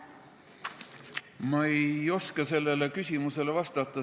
Ma ei oska sellele küsimusele vastata.